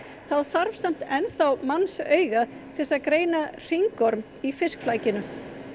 þá þarf samt enn þá mannsaugað til þess að greina í fiskflakinu